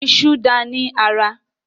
Ìṣù dáa ní ara